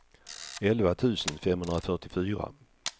elva tusen femhundrafyrtiofyra